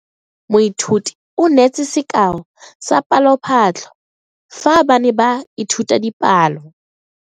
Moithuti o neetse sekao sa palophatlo fa ba ne ba ithuta dipalo.